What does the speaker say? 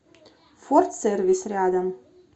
форд сервис рядом